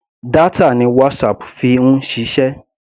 Data ni WhatsApp fi ń ṣiṣẹ́.